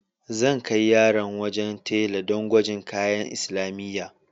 Zan kai yaran wajen tela do gwajin kayan makarantar islamiyya.